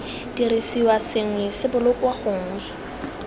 dirisiwa sengwe se bolokwa gongwe